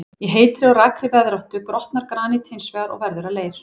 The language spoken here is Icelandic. Í heitri og rakri veðráttu grotnar granít hins vegar og verður að leir.